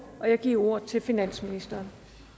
og jeg giver ordet til finansministeren